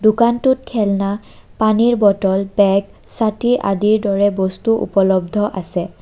দোকানটোত খেলনা পানীৰ bottle bag ছাতি আদিৰ দৰে বস্তু উপলব্ধ আছে।